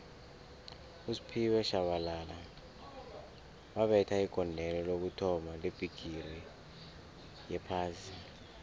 usphiwe shabalala wabetha igondelo lokuthoma lebhigixi yophasi